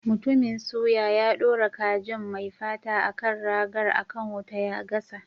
Mutumin suya, ya dora kajin mai fata a kan ragar, a kan wuta ya gasa.